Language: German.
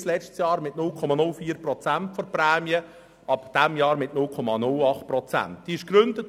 Bis im letzten Jahr waren 0,04 Prozent der Prämien dafür festgelegt, seit diesem Jahr sind 0,08 Prozent vorgesehen.